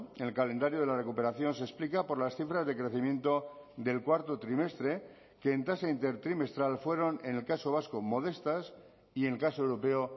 en el calendario de la recuperación se explica por las cifras de crecimiento del cuarto trimestre que en tasa intertrimestral fueron en el caso vasco modestas y en el caso europeo